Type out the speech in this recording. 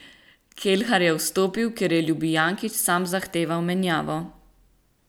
Kelhar je vstopil, ker je Ljubijankić sam zahteval menjavo.